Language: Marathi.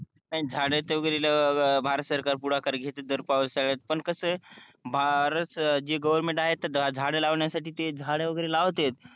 नाही झाड तर वागेरे भारत सरकार पुढाकार घेतेच दर पावसाळ्यात पण सक आहे भारत जे गवर्नमेंट आहे त ते झाड लावण्या साठी ते झाड वागेरे लवतेच